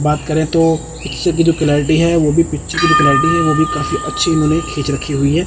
बात करें तो पिक्चर की जो क्लेरिटी है वो भी पिक्चर की जो क्लेरिटी है वो भी काफी अच्छी उन्होंने खींच रखी हुई है।